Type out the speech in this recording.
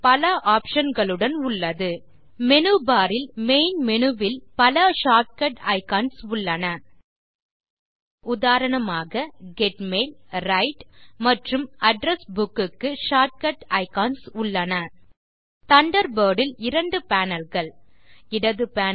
பல ஆப்ஷன் களுடன் உள்ளது மேனு பார் இல் மெயின் மேனு வில் பல ஷார்ட் கட் ஐகன்ஸ் உள்ளன உதாரணமாக கெட் மெயில் விரைட் மற்றும் அட்ரெஸ் புக் க்கு ஷார்ட்கட் ஐகன்ஸ் உள்ளன தண்டர்பர்ட் இல் இரண்டு பேனல் கள் இடது பேனல்